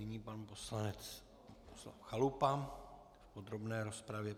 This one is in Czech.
Nyní pan poslanec Chalupa v podrobné rozpravě.